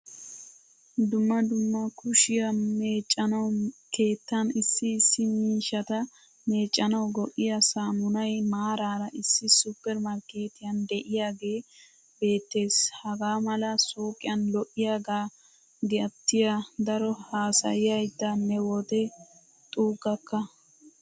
Dumma dumma kushiyaa meccanawu, keettaan issi issi miishshata meccanawu go'iyaa samunay maarara issi supper markketiyan deiyage beetees. Hagaamala suuqiyan lo'iyage gatiyaa daro haasayayida ne wode xugakka.